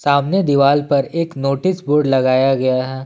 सामने दीवाल पर एक नोटिस बोर्ड लगाया गया है।